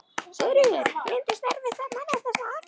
Sigríður: Reyndist erfitt að manna þessa aðgerð?